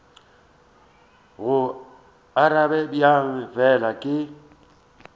go arabe bjang fela ke